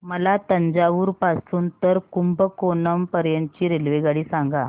मला तंजावुर पासून तर कुंभकोणम पर्यंत ची रेल्वेगाडी सांगा